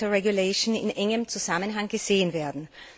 better regulation in engem Zusammenhang gesehen werden.